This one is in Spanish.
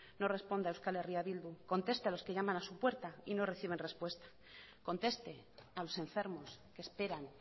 no responda a eh bildu conteste a los que llaman a su puerta y no reciben respuesta conteste a los enfermos que esperan